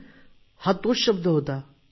अरे हा तोच शब्द होता